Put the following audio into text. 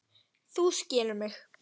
Þú skilur mig.